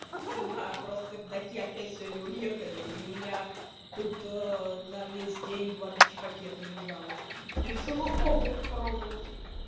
да просто родители опять сегодня уехали и у меня тут на весь день два бич пакета лежало решила оба попробовать